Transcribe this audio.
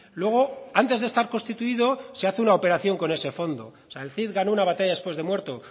luego antes de estar constituido se hace una operación con ese fondo o sea el cid ganó una batalla después de muerto